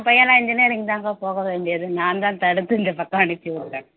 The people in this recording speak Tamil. என் பையனா engineering தாங்க போக வேண்டியது நான்தான் தடுத்து இந்தப் பக்கம் அனுப்பி விட்டேன்